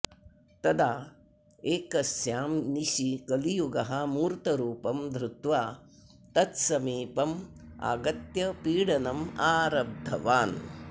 तदा एकस्यां निशि कलियुगः मूर्तरूपं धृत्वा तत्समीपम् आगत्य पीडनम् आरब्धवान्